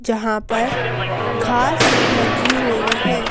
जहां पर घास लगी हुई है।